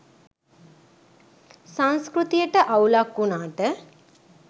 සංස්කෘතියට අවුලක් වුණාට